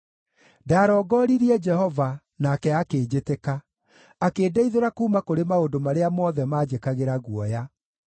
Ndarongoririe Jehova, nake akĩnjĩtĩka, akĩndeithũra kuuma kũrĩ maũndũ marĩa mothe maanjĩkagĩra guoya.